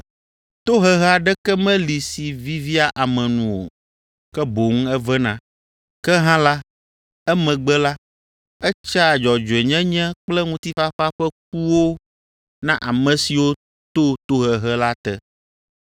Tohehe aɖeke meli si vivia ame nu o, ke boŋ evena, ke hã la, emegbe la, etsea dzɔdzɔenyenye kple ŋutifafa ƒe kuwo na ame siwo to tohehe la te.